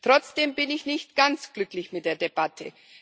Trotzdem bin ich nicht ganz glücklich mit der Debatte.